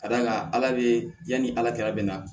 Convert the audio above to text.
Ka d'a kan ala be yanni ala kɛlɛ bɛ na